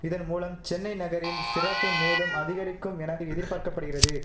இதன் மூலம் சென்னை நகரின் சிறப்பு மேலும் அதிகரிக்கும் என எதிர்பார்க்க படுகிறது